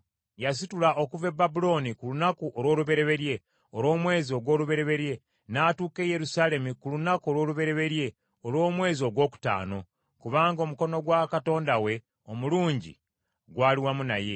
Yasitula okuva e Babulooni ku lunaku olw’olubereberye olw’omwezi ogw’olubereberye, n’atuuka e Yerusaalemi ku lunaku olw’olubereberye olw’omwezi ogwokutaano, kubanga omukono gwa Katonda we omulungi gwali wamu naye.